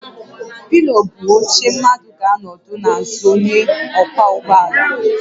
Pilion bụ oche mmadụ ga anọdụ n'azụ onye ọkwọ ụgbọ ala